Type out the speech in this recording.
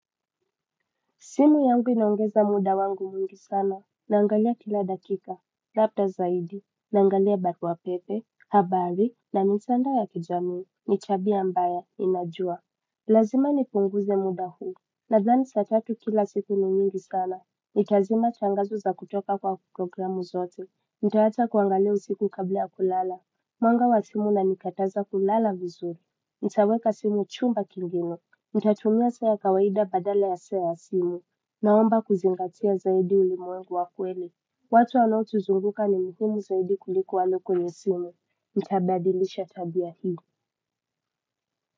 Simu yangu inaongeza muda wangu mwingi sana, naangalia kila dakika, labda zaidi, naangalia barua pepe, habari, na mitandao ya kijamii, ni tabia ambayo inajua. Lazima nipunguze muda huu, nadhani saa tatu kila siku ni mingi sana, itazima changazo za kutoka kwa programu zote, nitaacha kuangalia usiku kabla ya kulala. Mwanga wa simu una nikataza kulala vizuri, nitaweka simu chumba kingine. Nitatumia saya kawaida badala ya saa ya ya simu naomba kuzingatia zaidi ulimwengu wakweli watu wanaotuzunguka ni muhimu zaidi kuliko walioko kwenye simu nitabadilisha tabia hii.